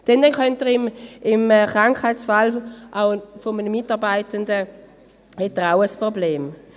Dann hätte er im Krankheitsfall eines Mitarbeitenden auch ein Problem.